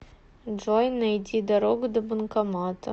джой найди дорогу до банкомата